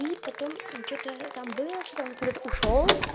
и потом что-то там было что он куда-то ушёл